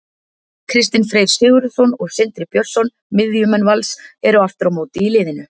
Kristinn Freyr Sigurðsson og Sindri Björnsson, miðjumenn Vals, eru aftur á móti í liðinu.